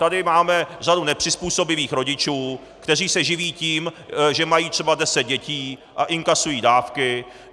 Tady máme řadu nepřizpůsobivých rodičů, kteří se živí tím, že mají třeba deset dětí a inkasují dávky.